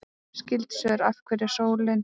Skyld svör: Af hverju er sólin til?